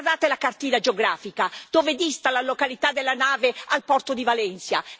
Guardate la cartina geografica dove dista la località della nave al porto di Valencia?